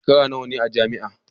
Sashen nawa ne a jami'a?